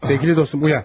Əziz dostum, oyan!